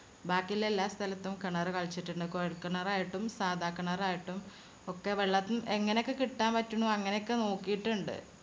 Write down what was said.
ബാക്കിയില്ല എല്ലാ സ്ഥലത്തും കിണറ് കിളച്ചിട്ടുണ്ട്. കൊഴൽ കിണറായിട്ടും സാധാ കിണർ ആയിട്ടും ഒക്കെ വെള്ളം എങ്ങനൊക്കെ കിട്ടാൻ പറ്റുണു അങ്ങനെക്കെ നോക്കിയിട്ടിണ്ട്.